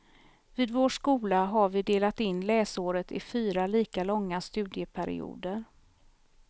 Vid vår skola har vi delat in läsåret i fyra lika långa studieperioder.